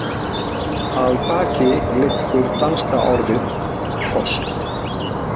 Að baki liggur danska orðið kost.